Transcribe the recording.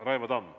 Raivo Tamm.